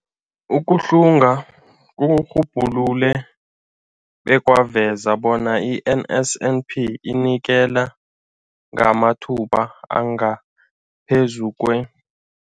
Ukuhlunga kurhubhulule bekwaveza bona i-NSNP inikela ngamathuba angaphezulu kwe-